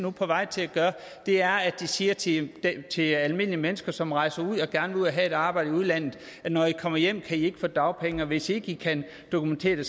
er på vej til at gøre er at de siger til til almindelige mennesker som rejser ud og gerne have et arbejde i udlandet at når de kommer hjem kan de ikke få dagpenge og hvis ikke de kan dokumentere det